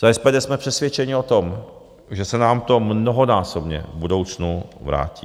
Za SPD jsme přesvědčeni o tom, že se nám to mnohonásobně v budoucnu vrátí.